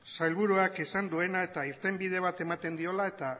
sailburuak esan duena eta irtenbide bat ematen diola